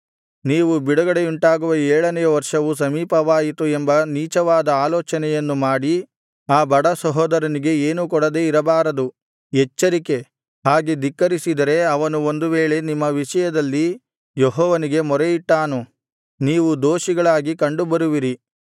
ನೀವು ಬಿಡುಗಡೆಯುಂಟಾಗುವ ಏಳನೆಯ ವರ್ಷವು ಸಮೀಪವಾಯಿತು ಎಂಬ ನೀಚವಾದ ಆಲೋಚನೆಯನ್ನು ಮಾಡಿ ಆ ಬಡ ಸಹೋದರನಿಗೆ ಏನೂ ಕೊಡದೆ ಇರಬಾರದು ಎಚ್ಚರಿಕೆ ಹಾಗೆ ಧಿಕ್ಕರಿಸಿದರೆ ಅವನು ಒಂದು ವೇಳೆ ನಿಮ್ಮ ವಿಷಯದಲ್ಲಿ ಯೆಹೋವನಿಗೆ ಮೊರೆಯಿಟ್ಟಾನು ನೀವು ದೋಷಿಗಳಾಗಿ ಕಂಡುಬರುವಿರಿ